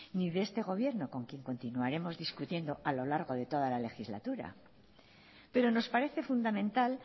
ni de este gobierno con quien continuaremos discutiendo a lo largo de toda la legislatura pero nos parece fundamental